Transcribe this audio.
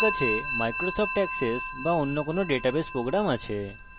আমি ডাটাবেস সমূহ শেখার জন্য সুপারিশ করব